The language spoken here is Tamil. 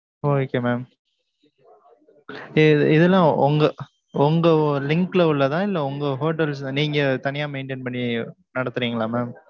okay mam இதெல்லாம் உங்க உங்க link ல உள்ளதா? இல்ல உங்க hotels நீங்க தனியா maintain பண்ணி நடத்துறீங்களா mam